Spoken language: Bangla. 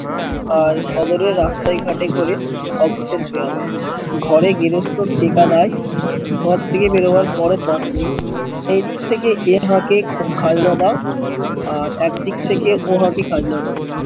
আর শহরে রাস্তায় ঘটে ঘোরে অভুতের পেয়ালা ঘরে গৃহস্ত ঘর থেকে বেরোবার কোনো পথ নেই সেইদিক থেকে এর হাঁকে আর একদিক থেকে পোহাটি খাজনা দেওয়া